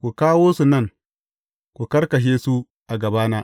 ku kawo su nan, ku karkashe su, a gabana.’